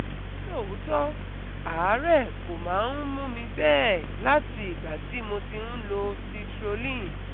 Nítòótọ́, àárẹ̀ kò máa ń mú mi bẹ́ẹ̀ láti ìgbà tí mo ti ń lo Citrulline